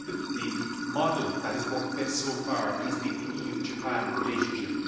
the model that has worked best so far has been the EU Japan relationship.